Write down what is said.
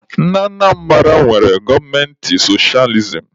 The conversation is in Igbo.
Ndị Anambara nwere gọọmenti sochializim